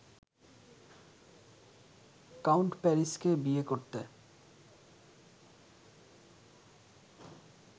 count প্যারিসকে বিয়ে করতে